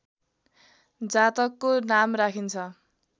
जातकको नाम राखिन्छ